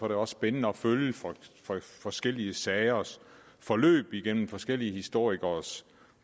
det også spændende at følge forskellige sagers forløb igennem forskellige historikeres